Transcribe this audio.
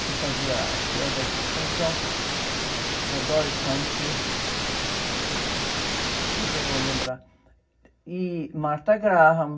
que fazia a queda e suspensão, da Doris Humphrey, depois eu vou lembrar, e Martha Graham.